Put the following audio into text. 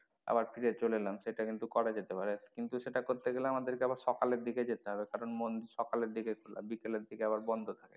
আবার ফিরে চলে এলাম সেটা কিন্তু করা যেতে পারে কিন্তু সেটা করতে গেলে আমাদের কে আবার সকালের দিকে যেতে হবে কারন মন, সকালের দিকে খোলা বিকেলের দিকে আবার বন্ধ থাকে।